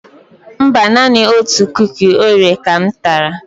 Mba, naanị otu Kuki Oreo ka m tara.